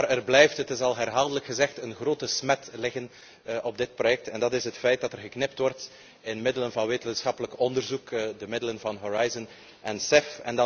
Maar er blijft, het is al herhaaldelijk gezegd, een grote smet liggen op dit project en dat is het feit dat er geknipt wordt in middelen voor wetenschappelijk onderzoek, de middelen van Horizon en